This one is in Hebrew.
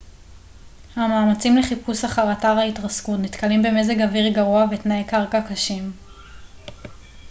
המאמצים לחיפוש אחר אתר ההתרסקות נתקלים במזג אוויר גרוע ותנאי קרקע קשים